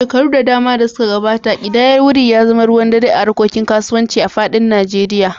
Shekaru da dama da suka gabata, kidayar wuri ya zama ruwan dare a harkokin kasuwanci a faɗin Najeriya.